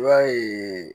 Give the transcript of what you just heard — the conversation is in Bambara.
I b'a ye